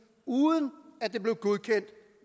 uden at det blev godkendt